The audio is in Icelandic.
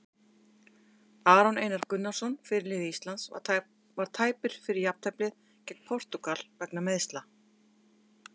Aron Einar Gunnarsson, fyrirliði Íslands, var tæpur fyrir jafnteflið gegn Portúgal vegna meiðsla.